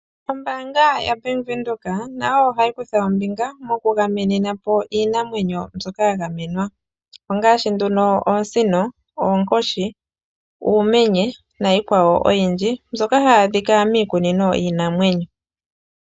Ombaanga yaBank Windhoek ohayi kutha ombinga megameno lyiinamwenyo mbyoka yagamenwa ngaashi oosino, oonkoshi, uumenye nayilwe oyindji.